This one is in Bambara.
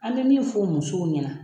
An bɛ fɔ musow ɲɛna.